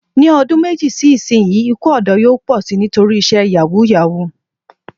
Ní odún méjì sí ìsinyìí, ikú òdó yóò pò si nítorí isé yàwúù-yàwuù